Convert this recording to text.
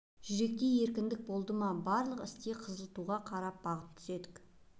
жүректе еркіндік болды ма барлық істе қызыл туға қарап бағыт түзедік